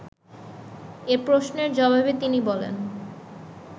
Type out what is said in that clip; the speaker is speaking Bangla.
এ প্রশ্নের জবাবে তিনি বলেন